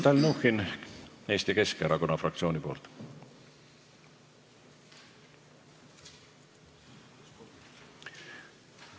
Mihhail Stalnuhhin Eesti Keskerakonna fraktsiooni nimel.